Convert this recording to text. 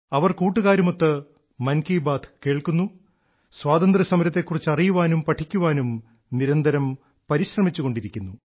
അവർ കൂട്ടുകാരുമൊത്ത് മൻ കീ ബാത്ത് കേൾക്കുന്നു സ്വാതന്ത്ര്യസമരത്തെ കുറിച്ച് അറിയാനും പഠിക്കാനും നിരന്തരം പരിശ്രമിച്ചുകൊണ്ടിരിക്കുന്നു